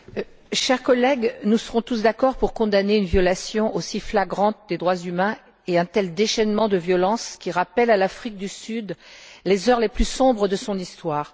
Monsieur le Président, chers collègues, nous serons tous d'accord pour condamner une violation aussi flagrante des droits humains et un tel déchaînement de violence, qui rappellent à l'Afrique du Sud les heures les plus sombres de son histoire.